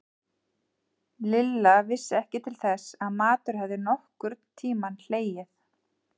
Lilla vissi ekki til þess að matur hefði nokkurn tímann hlegið.